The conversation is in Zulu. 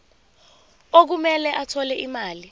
okumele athole imali